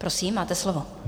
Prosím, máte slovo.